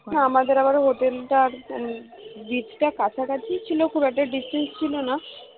আমাদের আবার hotel টা beach টা কাছাকাছি ছিল খুব একটা distance ছিল না